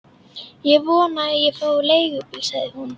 Ég vona að ég fái leigubíl, sagði hún.